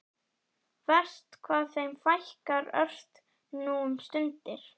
Verst hvað þeim fækkar ört nú um stundir.